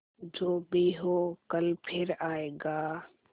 जो भी हो कल फिर आएगा